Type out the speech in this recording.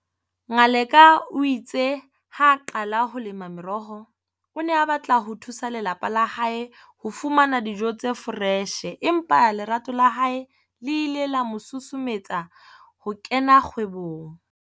Ngaleka o itse ha a qala ho lema meroho, o ne a batla ho thusa lelapa la hae ho fumana dijo tse foreshe empa lerato la hae le ile la mosusumeletsa ho kena kgwebong.